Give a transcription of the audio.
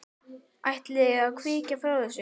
Kristján: Ætlið þið að kvika frá þessu?